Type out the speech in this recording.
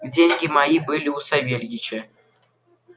деньги мои были у савельича